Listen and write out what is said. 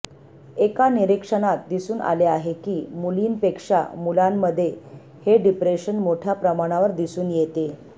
एका निरीक्षणात दिसून आले आहे की मुलींपेक्षा मुलांमध्ये हे डिप्रेशन मोठ्या प्रमाणावर दिसून येते